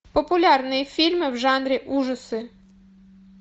популярные фильмы в жанре ужасы